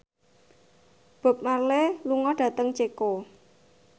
Bob Marley lunga dhateng Ceko